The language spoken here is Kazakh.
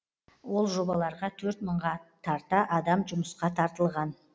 ол жобаларға төрт мыңға тарта адам жұмысқа тартылған